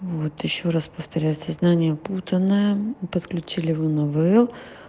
вот ещё раз повторяю сознание путанное подключили его на ивл